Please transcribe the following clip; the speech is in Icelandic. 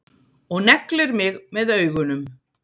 Og neglir mig með augunum.